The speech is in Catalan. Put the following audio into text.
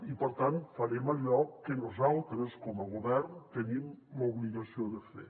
i per tant farem allò que nosaltres com a govern tenim l’obligació de fer